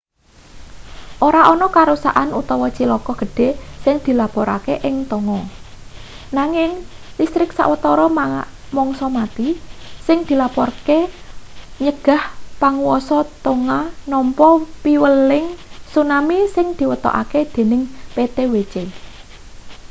ora ana karuksan utawa cilaka gedhe sing dilapurake ing tonga nanging listrik sawatara mangsa mati sing dilapurake nyegah panguwasa tonga nampa piweling tsunami sing diwetokake dening ptwc